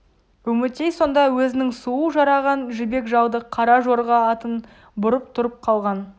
үмітей сонда өзінің сұлу жараған жібек жалды қара жорға атын бұрып тұрып қалған